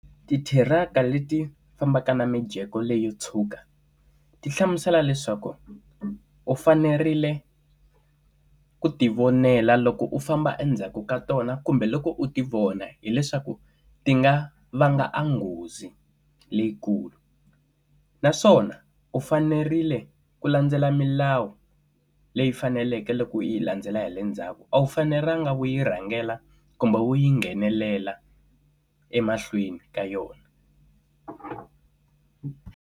Ti thiraka leti fambaka na mijeko leyi yo tshuka, ti hlamusela leswaku u fanerile ku ti vonela loko u famba endzhaku ka tona kumbe loko u ti vona, hileswaku ti nga vanga enghozi leyikulu. Naswona u fanerile ku landzela milawu leyi faneleke loko yi landzela hi le ndzhaku, a wu fanelanga wu yi rhangela kumbe u yi nghenelela emahlweni ka yona.